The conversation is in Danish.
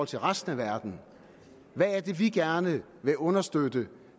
til resten af verden hvad er det vi gerne vil understøtte